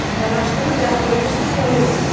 Fərraşlığı qəbul edirsən, ya yox?